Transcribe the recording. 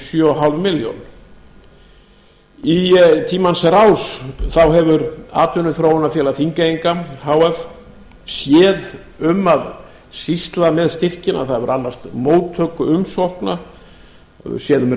sjö og hálfa milljón króna í tímans rás hefur atvinnuþróunarfélag þingeyinga h f séð um að sýsla með styrkina það hefur annast móttöku umsókna séð um